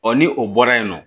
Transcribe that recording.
ni o bɔra yen nɔ